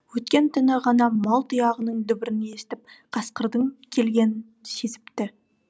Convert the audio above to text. өткен түні ғана мал тұяғының дүбірін естіп қасқырдың келгенін сезіпті